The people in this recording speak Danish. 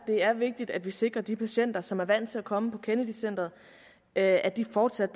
det er vigtigt at vi sikrer de patienter som er vant til at komme på kennedy centret at de fortsat